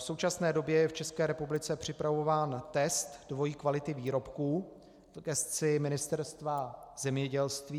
V současné době je v České republice připravován test dvojí kvality výrobků v gesci Ministerstva zemědělství.